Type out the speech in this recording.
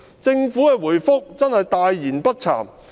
政府的答覆真是大言不慚。